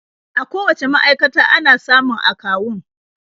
A kowacce ma'aikata ana samun akawun.